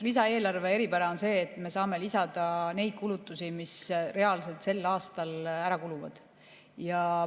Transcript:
Lisaeelarve eripära on see, et me saame lisada neid kulutusi, mis reaalselt sel aastal ära kuluvad.